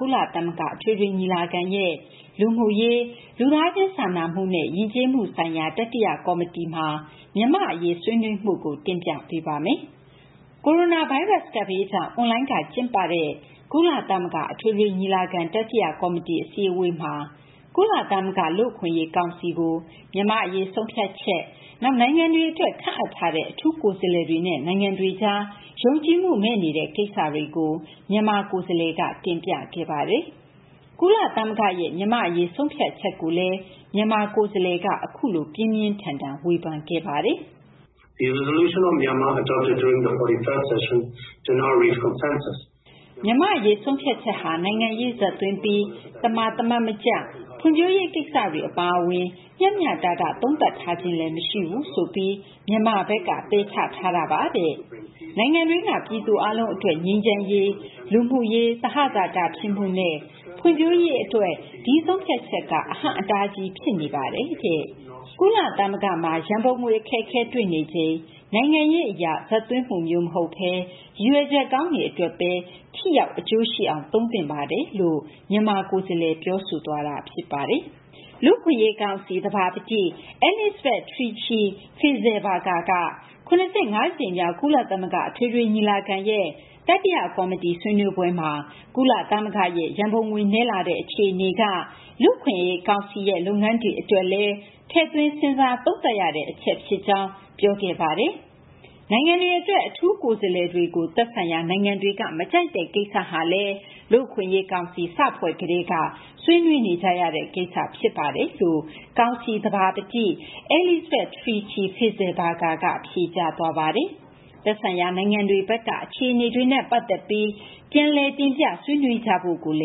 ကုလသမဂ္ဂ အထွေထွေညီလာခံရဲ့ လူမှုရေး၊ လူသားချင်းစာနာမှုနဲ့ ယဉ်ကျေးမှုဆိုင်ရာ တတိယကော်မတီမှာ မြန်မာ့အရေး ဆွေးနွေးမှုကို မသိင်္ဂီထိုက် စုစည်းတင်ပြထားပါတယ်။ ကိုရိုနာဗိုင်းရပ်စ် ကပ်ဘေးကြောင့် အွန်လိုင်းကနေ ကျင်းပခဲ့တဲ့ ကုလသမဂ္ဂ အထွေထွေညီလာခံ တတိယကော်မတီ အစည်းအဝေးမှာ ကုလသမဂ္ဂ လူ့အခွင့်အရေးကောင်စီကို မြန်မာ့အရေး ဆုံးဖြတ်ချက်၊ နောက် နိုင်ငံတွေအတွက် ခန့်အပ်ထားတဲ့ အထူးကိုယ်စားလှယ်တွေနဲ့ နိုင်ငံတွေကြား ယုံကြည်မှုမဲ့နေတဲ့ ကိစ္စတွေကို မြန်မာကိုယ်စားလှယ်က တင်ပြခဲ့ပါတယ်။ ကုလသမဂ္ဂရဲ့ မြန်မာ့အရေး ဆုံးဖြတ်ချက်ကိုလည်း မြန်မာကိုယ်စားလှယ်က အခုလို ပြင်းပြင်းထန်ထန် ဝေဖန်ခဲ့ပါတယ်။ “၄၅ ကြိမ်မြောက် ညီလာခံအတွင်း ချမှတ်ခဲ့တဲ့ မြန်မာ့အရေး ဆုံးဖြတ်ချက်ဟာ နိုင်ငံရေးဇာတ်သွင်းပြီး သမာသမတ်မကျ၊ ဖွံ့ဖြိုးရေးကိစ္စတွေ အပါအဝင် မျှမျှတတ သုံးသပ်ထားခြင်းလည်း မရှိဘူးဆိုပြီး မြန်မာဘက်က ပယ်ချထားပါတယ်။ နိုင်ငံတွင်းက ပြည်သူအားလုံးအတွက် ငြိမ်းချမ်းရေး၊ လူမှုရေး သဟဇာတဖြစ်မှုနဲ့ ဖွံ့ဖြိုးရေးအတွက် ဒီဆုံးဖြတ်ချက်က အဟန့်အတားကြီး ဖြစ်နေပါတယ်။ ကုလသမဂ္ဂမှာ ရန်ပုံငွေအခက်အခဲ တွေ့နေချိန်မှာ နိုင်ငံရေးအရ ပုံသွင်းမှုမျိုး မဟုတ်ဘဲ ရည်ရွယ်ချက်ကောင်းတွေအတွက်ပဲ ထိရောက် အကျိုးရှိအောင် သုံးသင့်ပါတယ်။” လူ့အခွင့်အရေးကောင်စီ သဘာပတိ Elisabeth Tichy-Fisslbergher က ၇၅ ကြိမ်မြောက် ကုလသမဂ္ဂ အထွေထွေညီလာခံရဲ့ တတိယကော်မတီ ဆွေးနွေးပွဲမှာ ကုလသမဂ္ဂရဲ့ ရန်ပုံငွေနည်းလာတဲ့ အခြေအနေက ကုလသမဂ္ဂ လူ့အခွင့်အရေးကောင်စီရဲ့ လုပ်ငန်းတွေအတွက်လည်း ထည့်သွင်း စဉ်းစားသုံးသပ်ရတဲ့ အချက်ဖြစ်ကြောင်း ပြောခဲ့ပါတယ်။ နိုင်ငံတွေအတွက် အထူးကိုယ်စားလှယ်တွေကို သက်ဆိုင်ရာ နိုင်ငံတွေက မကြိုက်တဲ့ ကိစ္စဟာလည်း လူ့အခွင့်အရေးကောင်စီ စဖွဲ့ကတည်းက ဆွေးနွေးနေကြရတဲ့ကိစ္စ ဖြစ်ပါတယ်လို့ လူ့အခွင့်အရေးကောင်စီ သဘာပတိ Elisabeth Tichy-Fisslbergher က ဖြေကြားသွားပါတယ်။ သက်ဆိုင်ရာ နိုင်ငံတွေဘက်က အခြေအနေနဲ့ ပတ်သက်ပြီး တင်ပြဆွေးနွေးကြဖို့လ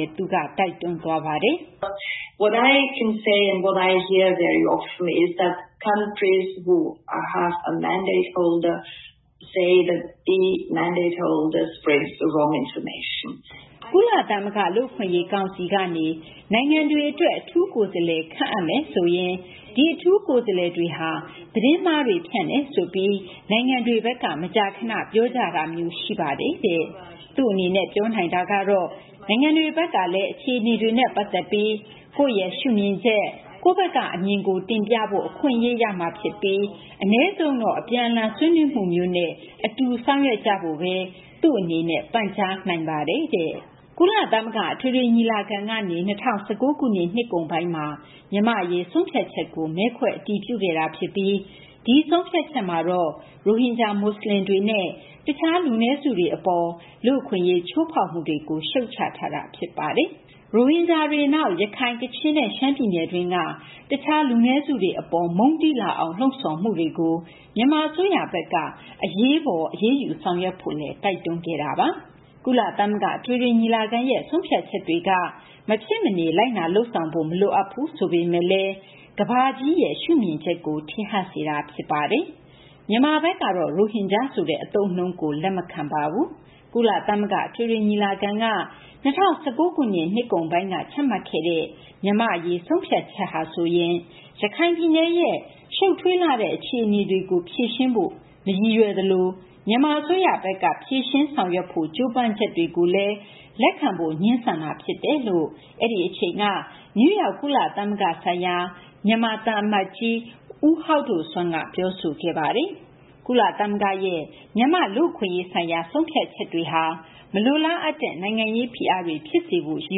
ည်း သူက တိုက်တွန်းသွားပါတယ်။ “ကုလသမဂ္ဂ လူ့အခွင့်အရေးကောင်စီကနေ နိုင်ငံတခုခုအတွက် အထူးကိုယ်စားလှယ် ခန့်အပ်မယ်ဆိုရင် ဒီအထူးကိုယ်စားလှယ်တွေဟာ သတင်းမှားတွေ ဖြန့်တယ်ဆိုပြီး နိုင်ငံတွေဘက်က မကြာခန ပြောကြတာမျိုး ရှိပါတယ်။ သူ့အနေနဲ့ ပြောနိုင်တာကတော့ နိုင်ငံတွေဘက်ကလည်း အခြေအနေတွေနဲ့ ပတ်သက်ပြီး ကိုယ့်ရဲ့ရှုမြင်ချက် ကိုယ့်ဘက်ကအမြင်ကို တင်ပြဖို့ အခွင့်အရေး ရမှာဖြစ်ပြီး အနည်းဆုံးတော့ အပြန်အလှန် ဆွေးနွေးမှုမျိုးနဲ့ အတူဆောင်ရွက်ကြဖို့ကိုပဲ သူ့အနေနဲ့ ပန်ကြားနိုင်ပါတယ်။” ကုလသမဂ္ဂ အထွေထွေညီလာခံကနေ ၂၀၁၉ ခုနှစ် နှစ်ကုန်ပိုင်းမှာ မြန်မာ့အရေး ဆုံးဖြတ်ချက်ကို မဲခွဲအတည်ပြုခဲ့တာဖြစ်ပြီး ဒီဆုံးဖြတ်ချက်မှာတော့ ရိုဟင်ဂျာ မွတ်စလင်တွေနဲ့ တခြား လူနည်းစုတွေအပေါ် လူ့အခွင့်အရေး ချိုးဖောက်မှုတွေကို ရှုတ်ချထားတာ ဖြစ်ပါတယ်။ ရိုဟင်ဂျာတွေ၊ နောက် ရခိုင်၊ ကချင်နဲ့ ရှမ်းပြည်နယ်တွင်းက တခြား လူနည်းစုတွေအပေါ် မုန်းတီးလာအောင် လှုံ့ဆော်မှုတွေကို မြန်မာအစိုးရဘက်က အရေးပေါ် အရေးယူဆောင်ရွက်ဖို့ တိုက်တွန်းထားတာပါ။ ကုလသမဂ္ဂ အထွေထွေညီလာခံရဲ့ ဆုံးဖြတ်ချက်တွေက မဖြစ်မနေ လိုက်နာလုပ်ဆောင်ဖို့ မလိုအပ်ဘူး ဆိုပေမယ့်လည်း ကမ္ဘာ့ရဲ့ ရှုမြင်ချက်ကို ထင်ဟပ်စေတာ ဖြစ်ပါတယ်။ မြန်မာဘက်ကတော့ ရိုဟင်ဂျာဆိုတဲ့ အသုံးအနှုန်းကို လက်မခံပါဘူး။ ကုလသမဂ္ဂ အထွေထွေညီလာခံက ၂၀၁၉ ခုနှစ် နှစ်ကုန်ပိုင်းမှာ ချမှတ်ခဲ့တဲ့ မြန်မာ့အရေး ဆုံးဖြတ်ချက်ဟာဆိုရင် ရခိုင်ပြည်နယ်ရဲ့ ရှုပ်ထွေးလှတဲ့ အခြေအနေတွေကို ဖြေရှင်းဖို့ မရည်ရွယ်သလို မြန်မာအစိုးရဘက်က ဖြေရှင်းဆောင်ရွက်ဖို့ ကြိုးပမ်းချက်ကိုလည်း လက်ခံဖို့ ငြင်းဆန်တာဖြစ်တယ်လို့ အဲဒီအချိန်က နယူးယောက် ကုလသမဂ္ဂဆိုင်ရာ မြန်မာသံအမတ်ကြီး ဦးဟောက်ဒိုဆွမ်းက ပြောဆိုခဲ့တာပါ။ ကုလသမဂ္ဂရဲ့ မြန်မာ့လူ့အခွင့်အရေးဆိုင်ရာ ဆုံးဖြတ်ချက်ဟာ မလိုလားအပ်တဲ့ နိုင်ငံရေးဖိအားတွေ ဖြစ်စေဖို့ ရည်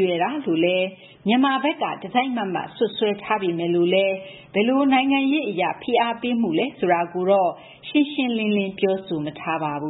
ရွယ်တာလို့လည်း မြန်မာဘက်က တစိုက်မတ်မတ် စွပ်စွဲထားပေမယ့် ဘယ်လို နိုင်ငံရေးအရ ဖိအားပေးမှုလဲ ဆိုတာကိုတော့ ရှင်းရှင်းလင်းလင်း ပြောဆိုမထားပါဘူး